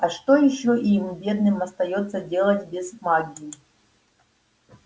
а что ещё им бедным остаётся делать без магии